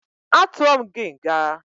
Atuọ m gị nga!